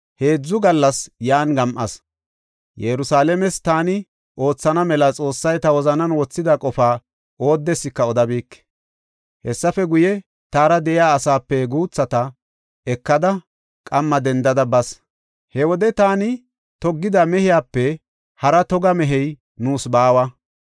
Yerusalaames taani oothana mela Xoossay ta wozanan wothida qofaa oodeska odabike. Hessafe guye, taara de7iya asaape guuthata ekada qamma dendada bas. He wode taani toggida mehiyape hara toga mehey nuus baawa.